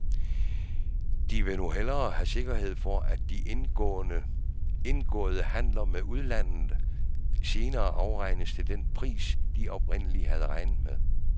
De vil nu have sikkerhed for, at de indgåede handler med udlandet senere afregnes til den pris, de oprindelig havde regnet med.